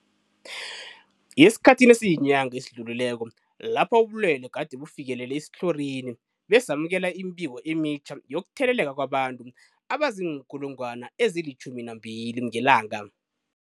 Esikhathini esiyinyanga esidlulileko lapho ubulwele gade bufikelele esitlhorini, besamukela imibiko emitjha yokutheleleka kwabantu abazii-12 000 ngelanga.